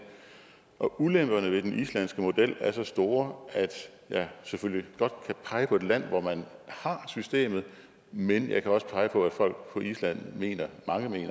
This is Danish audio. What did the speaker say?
og ulemperne ved den islandske model er store jeg kan selvfølgelig godt pege på et land hvor man har systemet men jeg kan også pege på at mange folk på island mener